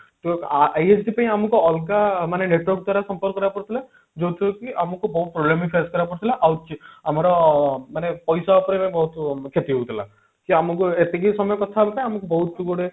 ISD ପାଇଁ ଆମକୁ ଅଲଗା ମାନେ network ଦ୍ଵାରା ସମ୍ପର୍କ କରିବାକୁ ପଡୁଥିଲା ଯୋଉଥିରେ କି ଆମକୁ ବହୁତ problem ବି face କରିବାକୁ ପଡୁଥିଲା ଆଉ ଆମର ଅ ମାନେ ପଇସା ଉପରେ ବି ବହୁତ କ୍ଷତି ହଉଥିଲା କି ଆମକୁ ଏତିକି ସମୟ କଥା ହବା ପାଇଁ ଆମକୁ ବହୁତ ଗୁଡେ